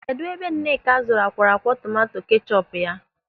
Kedụ ebe Nneka zụrụ akwọrọakwọ tomanto kechọpu ya?